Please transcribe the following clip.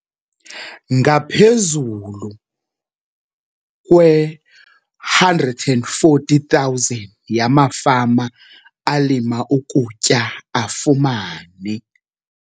Ngaphezulu kwe-140 000 yamafama alima ukutya afumene.